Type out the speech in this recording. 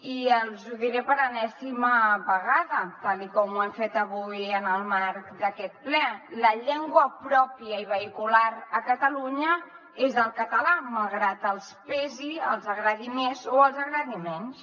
i els ho diré per enèsima vegada tal com ho hem fet avui en el marc d’aquest ple la llengua pròpia i vehicular a catalunya és el català malgrat els pesi els agradi més o els agradi menys